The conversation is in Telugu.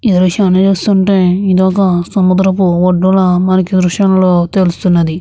ఈ దృశ్యాన్ని చూస్తుంటే మనకు ఇది ఒక సముద్రపు బొట్టులా మనకి దృశ్యంలో తెలుస్తుంది.